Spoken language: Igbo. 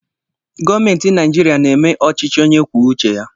Gọọmenti Naijiria na-eme ọchịchị onye kwuo uche ya